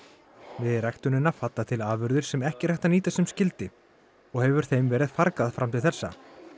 við ræktunina falla til afurðir sem ekki er hægt að nýta sem skyldi og hefur þeim verið fargað fram til þessa